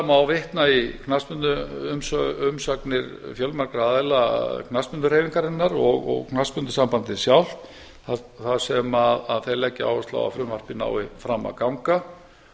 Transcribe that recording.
má vitna í knattspyrnuumsagnir fjölmargra aðila knattspyrnuhreyfingarinnar og knattspyrnusambandið sjálft þar sem þeir leggja áherslu á að frumvarpið nái fram að ganga